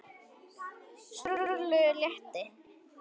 Sturlu létti.